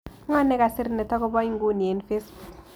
Ng'oo negasir netagoboo inguni eng' facebook